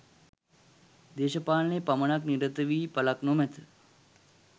දේශපාලනයේ පමණක් නිරත වී ඵලක් නොමැත.